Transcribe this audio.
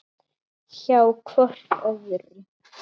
Hjá hvort öðru.